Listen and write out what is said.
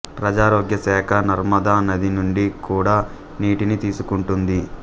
ప్రజారోగ్య శాఖ నర్మదా నది నుండి కూడా నీటిని తీసుకుంటుంది